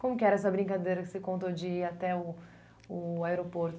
Como que era essa brincadeira que você contou de ir até o o aeroporto?